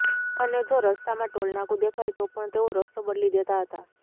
અને જો રસ્તામાં ટોલનાકુ દેખાય તો પણ તેઓ રસ્તો બદલી દેતા હતા